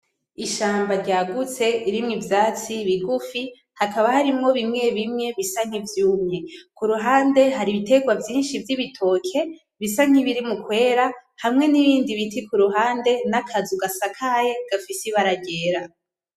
Ishamba ryagutse ririmwo ivyatsi bigufi, hakaba harimwo bimwe bimwe bisa nk'ivyumye, kuruhande hari ibitegwa vyinshi vy'ibitoke bisa nkibiri mu kwera; hamwe n'ibindi biti kuruhande; n'akazu gasakaye gafise ibara ryera.